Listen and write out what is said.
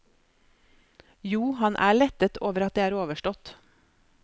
Jo, han er lettet over at det er overstått.